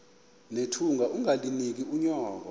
nethunga ungalinik unyoko